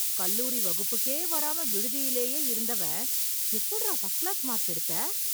கல்லூரி வகுப்புக்கே வராம விடுதியிலேயே இருந்தவன் எப்டிடா ஃபர்ஸ்ட் க்ளாஸ் மார்க் எடுத்தே...!